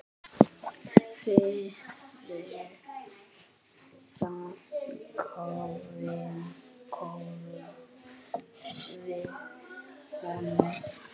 Fyrir það þökkum við honum.